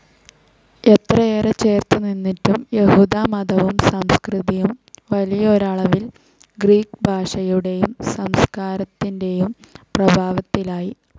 എത്രയേറെ ചെറുത്തു നിന്നിട്ടും, യഹൂദ മതവും സംസ്കൃതിയും വലിയൊരളവിൽ ഗ്രീക്ക് ഭാഷയുടേയും സംസ്കാരത്തിന്റേയും പ്രഭാവത്തിലായി.